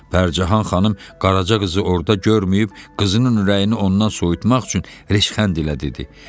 Pərcahan xanım qaraca qızı orda görməyib qızının ürəyini ondan soyutmaq üçün reşxənd ilə dedi.